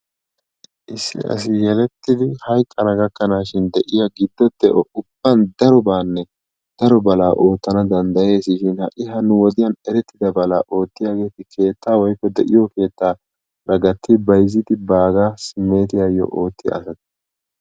Issi asi yelettidi hayqqana gakkanaashin de"iya gidfo de"o ubban darobaanne daro balaa oottana danddayes shin ha"i ha nu wodiyan erettida balaa oottiyageeti keettaa woykko de"iyo keettaara gatti bayzzidi baagaa simmeetiyayyo oottiya asata.